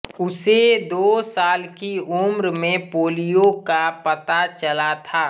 उसे दो साल की उम्र में पोलियो का पता चला था